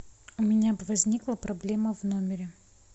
у меня возникла проблема в номере